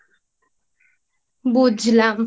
বুঝলাম